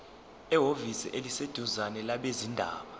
ehhovisi eliseduzane labezindaba